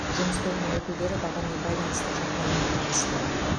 жұмыс тобының өкілдері бағамен байланысты жағдаймен танысты